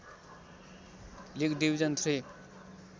league division three